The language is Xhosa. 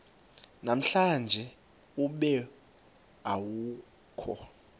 namhlanje ube awukho